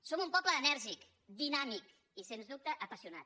som un poble enèrgic dinàmic i sens dubte apassionat